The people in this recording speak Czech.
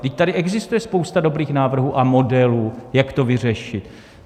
Vždyť tady existuje spousta dobrých návrhů a modelů, jak to vyřešit.